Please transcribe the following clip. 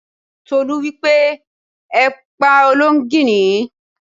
Tolú wípé: Ẹ pa olóńgìní!